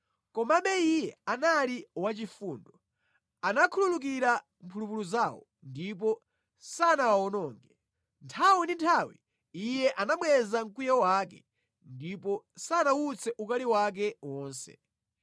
Komabe Iye anali wachifundo; anakhululukira mphulupulu zawo ndipo sanawawononge. Nthawi ndi nthawi Iye anabweza mkwiyo wake ndipo sanawutse ukali wake wonse.